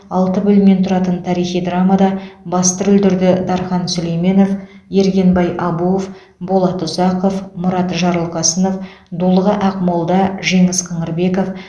алты бөлімнен тұратын тарихи драмада басты рөлдерді дархан сүлейменов ергенбай абуов болат ұзақов мұрат жарылқасынов дулыға ақмолда жеңіс қыңырбеков